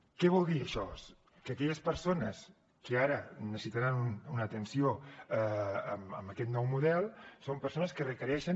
què vol dir això que aquelles persones que ara necessitaran una atenció amb aquest nou model són persones que requereixen